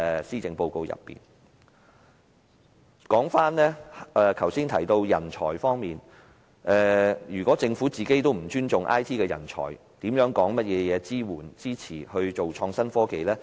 說回剛才提及的人才培訓方面，如果政府不尊重 IT 人才，還說甚麼支持發展創新科技呢？